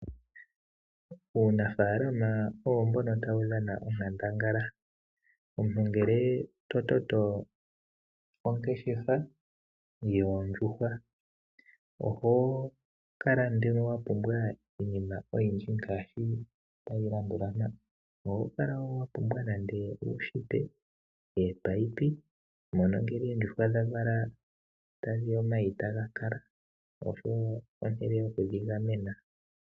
Uunafalama owo mbono tawu dhana onkandangala. Omuntu ngele to toto ongeshefa yoondjuhwa oho kala nduno wa pumbwa iinima oyindji ngaashi tayi landula mpa: oho kala wa pumbwa nende uushipa, opayipi mono ngele oondjuhwa dha vala omayi taga kala osho wo ehala lyokudhigamena.